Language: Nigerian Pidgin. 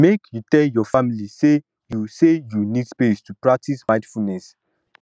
make you tell your family say you say you need space to practice mindfulness